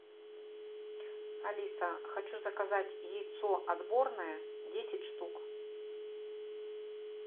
алиса хочу заказать яйцо отборное десять штук